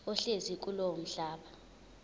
ohlezi kulowo mhlaba